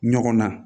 Ɲɔgɔn na